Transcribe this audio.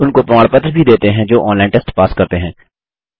उनको प्रमाण पत्र भी देते हैं जो ऑनलाइन टेस्ट पास करते हैं